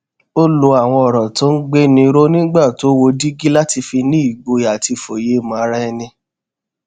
ó lo àwọn òrò tó ń gbéni ró nígbà tó wo dígí láti fi ní ìgboyà àti ìfòyemò ara ẹni